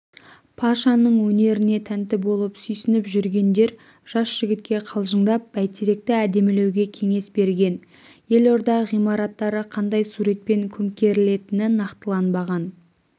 пашаның өнеріне тәнті болып сүйсініп жүргендер жас жігітке қалжыңдап бәйтеректі әдемілеуге кеңес берген елорда ғимараттары қандай суретпен көмкерілетіні нақтыланбаған